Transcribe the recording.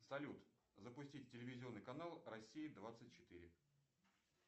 салют запустить телевизионный канал россия двадцать четыре